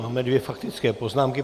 Máme dvě faktické poznámky.